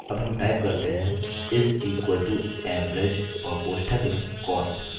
अब हम type करते हैं = average और कोष्ठक में cost